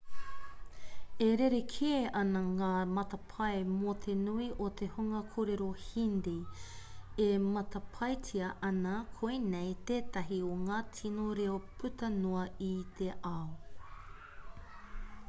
e rerekē ana ngā matapae mō te nui o te hunga kōrero hindi e matapaetia ana koinei tētahi o ngā tino reo puta noa i te ao